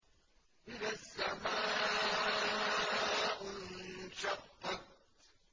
إِذَا السَّمَاءُ انشَقَّتْ